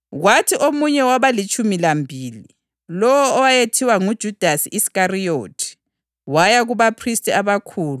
Kwathi omunye wabalitshumi lambili, lowo owayethiwa nguJudasi Iskariyothi, waya kubaphristi abakhulu